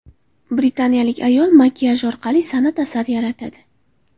Britaniyalik ayol makiyaj orqali san’at asari yaratadi .